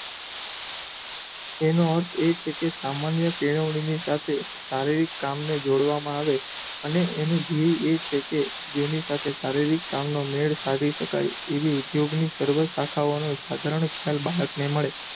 તેનો અર્થ એ છે કે સામાન્ય કેળવણીની સાથે શારીરિક કામને જોડવામાં આવે અને એનો દ્ધેય એ છે કે જેની સાથે શારીરિક કામનો મેળ સાધી શકાય એવી ઉધ્યોગની સર્વ શાખાઓનો સ્બધરણ ખ્યાલ બાળકને મળે.